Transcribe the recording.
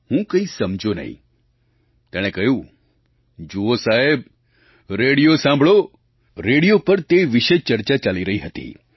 હું કાંઇ સમજ્યો નહીં તેણે કહ્યું જુઓ સાહેબ રેડિયો સાંભળો રેડિયો પર તે વિશે જ ચર્ચા ચાલી રહી હતી